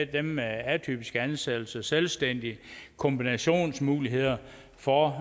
dem med atypiske ansættelser selvstændige kombinationsmuligheder for